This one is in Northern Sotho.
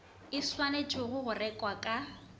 e swanetšwego go rekwa ka